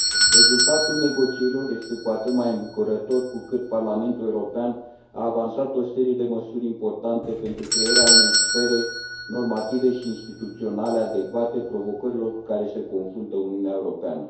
Rezultatul negocierilor este cu atât mai îmbucurător cu cât Parlamentul European a avansat o serie de măsuri importante pentru crearea unei sfere normative și instituționale adecvate provocărilor cu care se confruntă Uniunea Europeană.